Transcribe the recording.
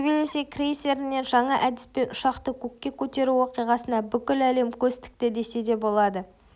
тбилиси крейсерінен жаңа әдіспен ұшақты көкке көтеру оқиғасына бүкіл әлем көз тікті десе де болады